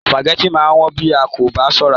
Sùpàgẹ́tì máa wón bí a kò bá sọ́ra.